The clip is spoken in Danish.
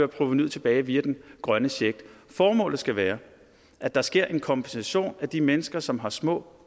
provenuet tilbage via den grønne check formålet skal være at der sker en kompensation af de mennesker som har små